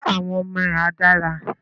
Ṣe àwọn ọmọ ẹ a dára?